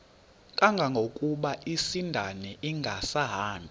kangangokuba isindane ingasahambi